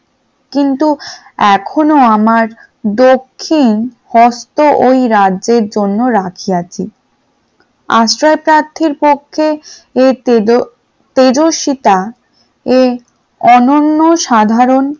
কিন্তু এখনো আমার দক্ষিণ হস্ত ওই রাজ্যের জন্য রাখিয়াছি, আশ্রয় প্রার্থীর পক্ষে এই তেজ তেজস্বীতা ও অনন্য সাধারণ